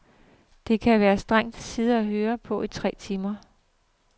Det kan være strengt at sidde og høre på i tre timer.